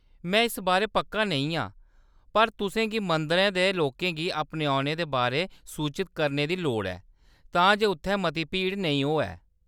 में इस बारै पक्का नेईं आं पर तुसें गी मंदरै दे लोकें गी अपने औने दे बारै सूचत करने दी लोड़ ऐ तां जे उत्थै मती भीड़ नेईं होऐ।